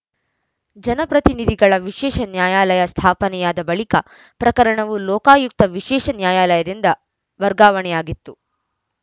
ಜನಪ್ರತಿನಿಧಿಗಳ ವಿಶೇಷ ನ್ಯಾಯಾಲಯ ಸ್ಥಾಪನೆಯಾದ ಬಳಿಕ ಪ್ರಕರಣವು ಲೋಕಾಯುಕ್ತ ವಿಶೇಷ ನ್ಯಾಯಾಲಯದಿಂದ ವರ್ಗಾವಣೆಯಾಗಿತ್ತು